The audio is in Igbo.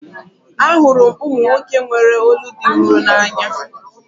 Ahụrụ m ụmụ nwoke nwere olu dị nro n'anya